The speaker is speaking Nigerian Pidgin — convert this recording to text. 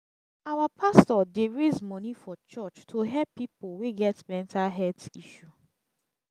our pastor dey raise moni from church to help pipo wey get mental health issue.